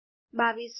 ૨૨૦૦